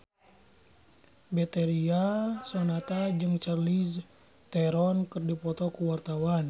Betharia Sonata jeung Charlize Theron keur dipoto ku wartawan